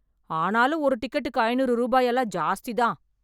ஆனாலும் ஒரு டிக்கெட்டுக்கு ஐநூறு ரூபாய் எல்லாம் ஜாஸ்திதான்